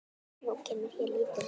Nú kemur hér lítil saga.